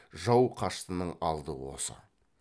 жау қаштының алды осы